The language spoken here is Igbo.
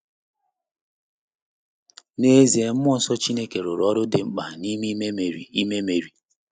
N’ezie, mmụọ nsọ Chineke rụrụ ọrụ dị mkpa n’ime ime Meri. ime Meri.